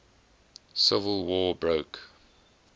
civil war broke